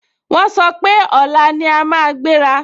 Wọ́n sọ pé, ọ̀la ni a máa gbéra